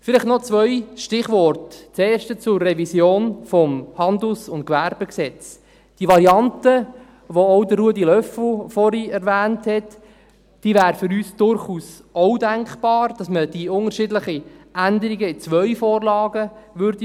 Vielleicht noch zwei Stichworte, das erste zur Revision des HGG: Die Variante, die auch Ruedi Löffel vorhin erwähnt hat, wäre für uns durchaus auch denkbar – dass man die unterschiedlichen Änderungen in zwei Vorlagen beraten würde.